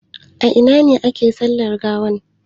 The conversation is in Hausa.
A ina ne ake yin sallar gawa?